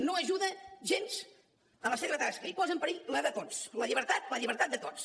no ajuda gens a la seva tasca i posa en perill la de tots la llibertat de tots